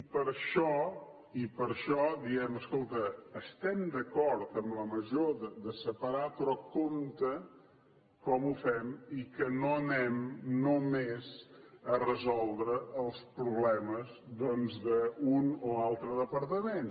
i per això i per això diem escolta estem d’acord en la mesura de separar però compte com ho fem i que no anem només a resoldre els problemes doncs d’un o altre departament